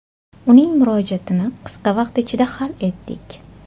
Uning murojaatini qisqa vaqt ichida hal etdik”.